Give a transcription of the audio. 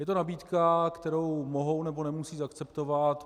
Je to nabídka, kterou mohou, nebo nemusí akceptovat.